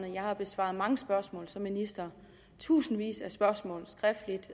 at jeg har besvaret mange spørgsmål som minister tusindvis af spørgsmål skriftligt